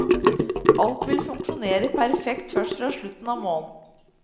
Alt vil funksjonere perfekt først fra slutten av måneden.